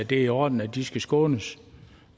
det er i orden at de skal skånes